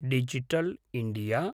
digital India